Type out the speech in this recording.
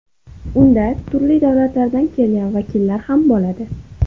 Unda turli davlatlardan kelgan vakillar ham bo‘ladi.